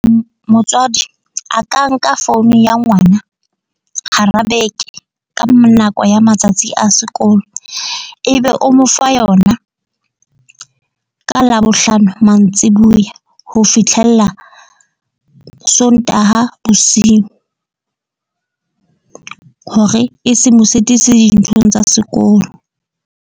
Motswadi a ka nka phone ya ngwana hara beke ka nako ya matsatsi a sekolo, ebe o mo fa yona ka labohlano mantsibuya. Ho fitlhella Sontaha bosiu hore e se mo sitise dinthong tsa sekolo.